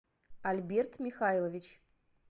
альберт михайлович